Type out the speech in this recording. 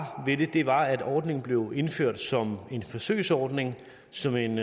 ved det var at ordningen blev indført som en forsøgsordning som en